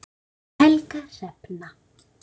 Helga Hrefna.